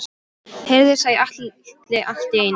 Heyrðu, sagði Alli allt í einu.